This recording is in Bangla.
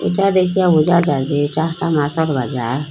ইটা দেকিয়া বোঝা যায় যে এটা একটি মাছের বাজার।